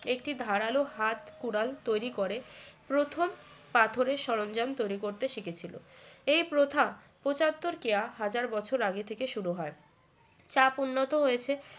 একটি ধারালো হাত কুড়াল তৈরি করে প্রথম পাথরের সরঞ্জাম তৈরি করতে শিখেছিল এ প্রথা পঁচাত্তর কেয়া হাজার বছর আগে থেকে শুরু হয় চাপ উন্নত হয়েছে